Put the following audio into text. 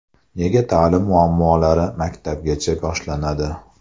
Nega ta’lim muammolari maktabgacha boshlanadi?.